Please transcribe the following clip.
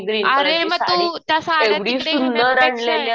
अरे मग तू